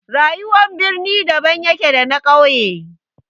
Rayuwar birni daban yake da na ƙauye.